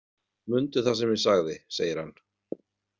Mundu það sem ég sagði, segir hann.